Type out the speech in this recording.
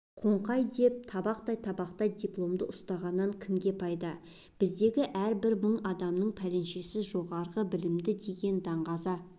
қоңқай деп табақтай-табақтай дипломды ұстатқаннан кімге пайда біздегі әр бір мың адамның пәленшесі жоғары білімді деген даңғаза